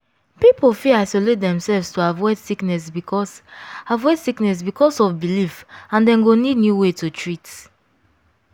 people fit isolate themselves to avoid sickness because avoid sickness because of belief and dem go need new way to treat.